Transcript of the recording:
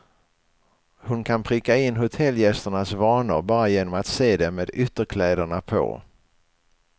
Hon kan pricka in hotellgästernas vanor bara genom att se dem med ytterkläderna på.